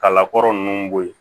Kalakɔrɔ ninnu bo ye